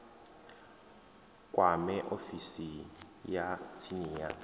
kwame ofisi ya tsini ya